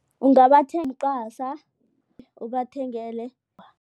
ubathengele.